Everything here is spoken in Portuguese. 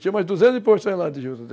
duzentos